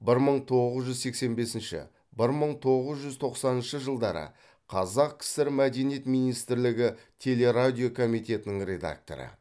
бір мың тоғыз жүз сексен бесінші бір мың тоғыз жүз тоқсаныншы жылдары қазақ кср мәдениет министрлігі телерадио комитетінің редакторы